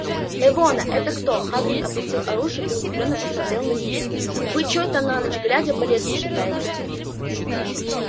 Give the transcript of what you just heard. эвона это кто хагрид опустил оружие и удивлённо посмотрел на них вы чой-то на ночь глядя по лесам шастаете